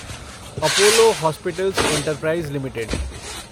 Apollo Hospitals Enterprise limited